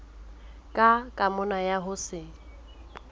ka kamano ya ho se